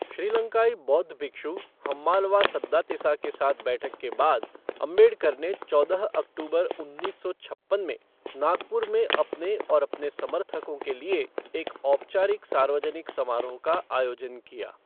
श्रीलंकाई बौद्ध भिक्षु हम्मालवा सद्दातिसा के साथ बैठक के बाद, अम्बेडकर ने चौदह अक्टूबर उन्नीस सौ छप्पन में नागपुर में अपने और अपने समर्थकों के लिए एक औपचारिक सार्वजनिक समारोह का आयोजन किया।